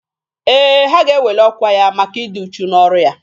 Ee, ha ga-eweli ọkwa ya maka ịdị uchu n'ọrụ ya.